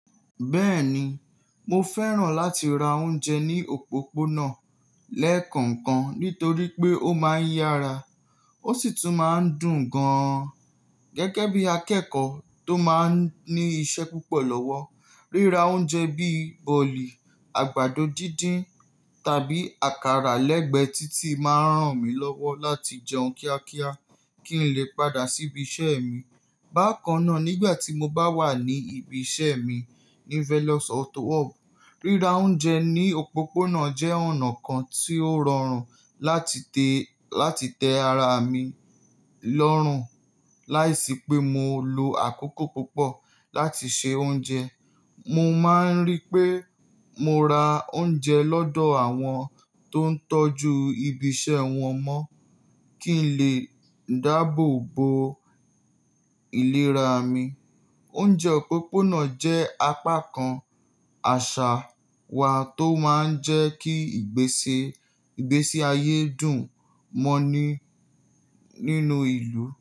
Bẹ́ẹ̀ni, mo fẹ́ràn láti ra oúnjẹ ní òpópónà lẹ́ekokan nítorí pé ó máa ń yára ó sì tún máa ń dùn gan-an. Gẹ́gẹ́ bí akẹ́kọ̀ọ́ tó máa ń ní iṣẹ́ púpọ̀ lọ́wọ́, ríra oúnjẹ bí bọ̀lì, àgbàdo dídín tàbí àkàrà lẹ́gbẹ̀ẹ́ títì máa ń ràn mí lọ́wọ́ láti jẹun kíákíá kí n lè padà síbi iṣẹ́ mi. Bákan náà, nígbà tí mo bá wà ní ibi iṣẹ́ mi ní Velox Autowork, ríra oúnjẹ ní òpópónà jẹ́ ọ̀nà kan tí ó rọrùn láti tẹ ara mi lọ́rùn láìsí pé mo lo àkókò púpọ̀ láti se oúnjẹ. Mo máa ń rí pé mo ra oúnjẹ lọ́dọ̀ àwọn tó ń tọ́jú ibi iṣẹ́ wọn mọ́ kí n lè dáàbò bo ìlera mi. Oúnjẹ òpópónà jẹ́ apá kan àṣà wa tó máa ń jẹ́ kí ìgbésí ayé dùn mọ́ nínú ìlú.